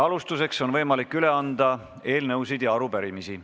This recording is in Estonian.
Alustuseks on võimalik üle anda eelnõusid ja arupärimisi.